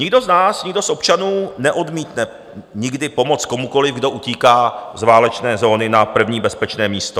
Nikdo z nás, nikdo z občanů, neodmítne nikdy pomoc komukoliv, kdo utíká z válečné zóny na první bezpečné místo.